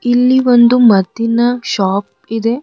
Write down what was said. ಇಲ್ಲಿ ಒಂದು ಮದ್ದಿನ ಶಾಪ್ ಇದೆ.